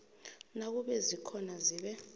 nakube zikhona zibe